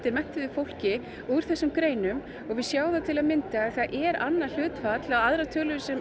menntuðu fólki úr þessum greinum og við sjáum það til að mynda að það er annað hlutfall og aðrar tölur sem